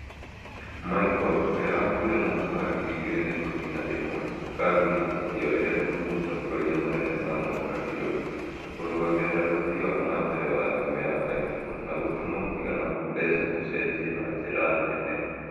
michael ũrĩa wakuire mwaka wa ngiri igĩrĩ na ikumi na ĩmwe na kambuni akĩorererwo nĩ mũtongoria munene samuel kabiru na kũrũgamirira ũthii wa na mbele wa thimũ ya iphone na gũtũma mũigana wa mbeca ũcenjie na njira nene